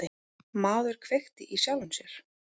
Maður kveikti í sjálfum sér